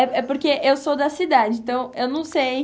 É porque eu sou da cidade, então eu não sei.